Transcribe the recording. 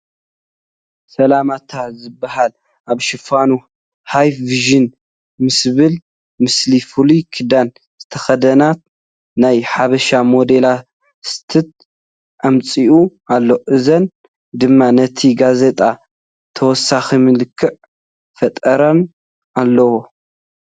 ሰላምታ ዝበሃል ኣብ ሽፋኑ ሃይ ፋሽን ምስዝብል ምስሊ ፍሉይ ክዳን ዝተኸደና ናይ ሓበሻ ሞዴሊስታት ኣምፂኡ ኣሎ፡፡ እዚአን ድማ ነቲ ጋዜጣ ተወሳኺ መልክዕ ፈጢረናሉ ኣለዋ፡፡